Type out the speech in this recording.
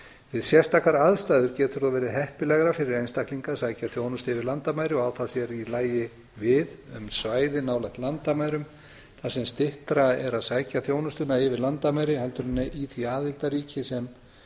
við sérstakar aðstæður getur það verið heppilegra fyrir einstaklinga að sækja þjónustu yfir landamæri og á það sér í lagi við um svæði nálægt landamærum þar sem styttra er að sækja þjónustuna yfir landamæri en í því aðildarríki sem